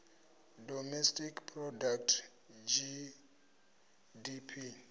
domestic product gdp